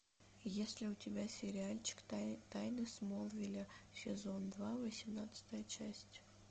есть ли у тебя сериальчик тайны смолвиля сезон два восемнадцатая часть